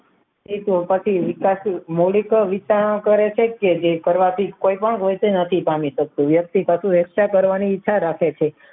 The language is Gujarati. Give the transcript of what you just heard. એ તો પછી વિકસિત મલિત વિચારનો કરે છે કે જે કરવાથી કોઈ પણ હોય તે નથી પામી શકતુ વ્યક્તિ પાસે એકઠા કરવાની ઈચ્છા રાખે છે